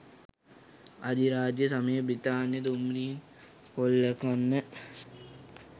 අධිරාජ්‍ය සමයේ බ්‍රිතාන්‍ය දුම්රීන් කොල්ලකන්න